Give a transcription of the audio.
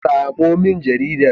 Samo min jaridar.